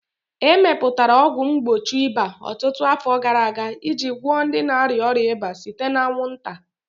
A mepụtara ọgwụ mgbochi ịba ọtụtụ afọ gara aga iji gwọọ ndị na-arịa ọrịa ịba site na anwụnta.